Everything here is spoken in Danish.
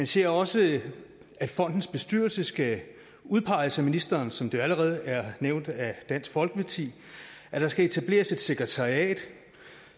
ser også at fondens bestyrelse skal udpeges af ministeren som det jo allerede er nævnt af dansk folkeparti at der skal etableres et sekretariat